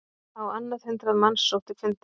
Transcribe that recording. Á annað hundrað manns sótti fundinn